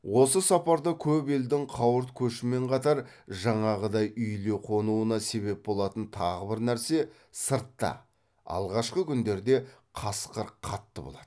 осы сапарда көп елдің қауырт көшімен қатар жаңағыдай үйіле қонуына себеп болатын тағы бір нәрсе сыртта алғашқы күндерде қасқыр қатты болады